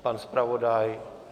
Pan zpravodaj?